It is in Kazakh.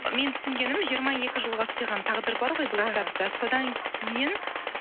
мен түсінгенім жиырма екі жылға сыйған тағдыр бар ғой бұл кітапта содан кейін